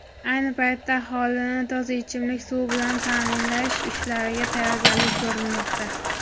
Ayni paytda aholini toza ichimlik suvi bilan ta’minlash ishlariga tayyorgarlik ko‘rilmoqda.